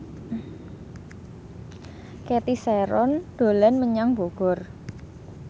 Cathy Sharon dolan menyang Bogor